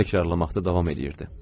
Təkrar etməkdə davam eləyirdi.